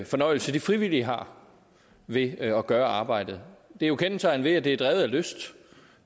fornøjelse de frivillige har ved at gøre arbejdet det er jo kendetegnet ved at det er drevet af lyst